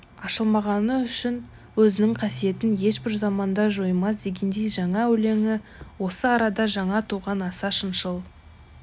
ашылмағаны үшін өзінің қасиетін ешбір заманда жоймас дегендей жаңа өлеңі осы арада жаңа туған аса шыншыл